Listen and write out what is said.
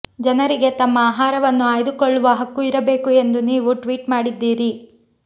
ಜನರಿಗೆ ತಮ್ಮ ಆಹಾರವನ್ನು ಆಯ್ದುಕೊಳ್ಳುವ ಹಕ್ಕು ಇರಬೇಕು ಎಂದು ನೀವು ಟ್ವೀಟ್ ಮಾಡಿದ್ದೀರಿ